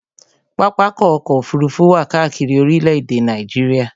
Pápákọ̀ ọ̀kọ òfurufú wà káàkiri orílẹ̀-èdè Nàìjíríà